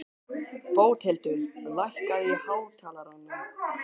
Bóthildur, lækkaðu í hátalaranum.